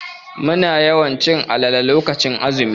Muna yawan cin alale lokacin azumi.